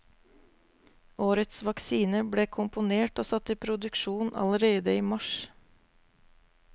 Årets vaksine ble komponert og satt i produksjon allerede i mars.